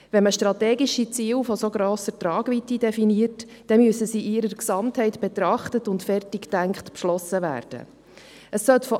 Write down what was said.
Wenn man strategische Ziele von so grosser Tragweite definiert, müssen diese in ihrer Gesamtheit betrachtet und erst beschlossen werden, nachdem sie zu Ende gedacht worden sind.